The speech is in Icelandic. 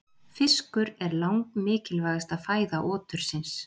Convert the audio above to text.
Fiskur er langmikilvægasta fæða otursins.